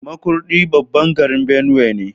Makurdi babban birnin Benue ne.